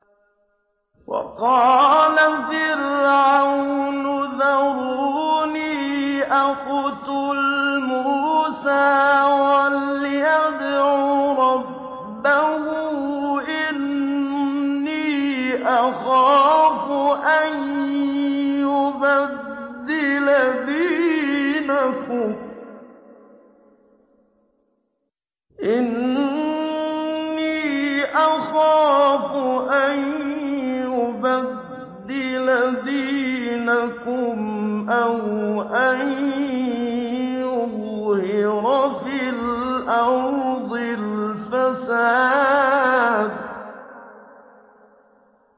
وَقَالَ فِرْعَوْنُ ذَرُونِي أَقْتُلْ مُوسَىٰ وَلْيَدْعُ رَبَّهُ ۖ إِنِّي أَخَافُ أَن يُبَدِّلَ دِينَكُمْ أَوْ أَن يُظْهِرَ فِي الْأَرْضِ الْفَسَادَ